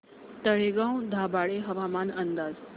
तळेगाव दाभाडे हवामान अंदाज